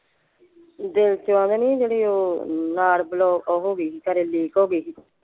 ਦਿਲ ਤੇ ਉਹਦੇ ਨੀ ਜਿਹੜੀ ਓਹ ਨਾੜ ਹੋ ਗਈ ਸੀ ਖਰੇ ਹੋ ਗਈ ਸੀ।